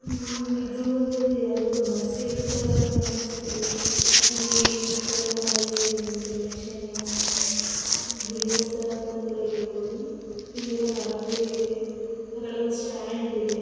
ಇದು ಇಲ್ಲಿ ಒಂದು ಯಾವುದೋ ಮಸೀದಿ ತರ ಕಾಣಿಸ್ತಿದೆ. ಇಲ್ಲಿ ಮುಸಲ್ಮಾನರಿಗೆ ಒಂದು ಪ್ರೇಕ್ಷಣೀಯ ದೇವಸ್ಥಾನ ಅಂತ ಕೂಡ ಹೇಳಬಹುದು. ಇಲ್ಲೆಲ್ಲಾ ಮರಗಳು ಇವೆ ಆ ಕಡೆ ಒಂದು ಸ್ಟ್ಯಾಂಡ್ ಇದೆ.